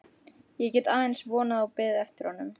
Ég get aðeins vonað og beðið fyrir honum.